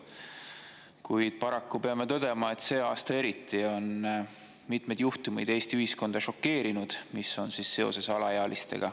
Kuid paraku peame tõdema, et eriti see aasta on mitmed juhtumid, mis on seotud alaealistega, Eesti ühiskonda šokeerinud.